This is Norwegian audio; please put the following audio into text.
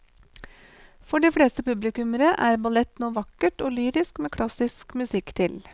For de fleste publikummere er ballett noe vakkert og lyrisk med klassisk musikk til.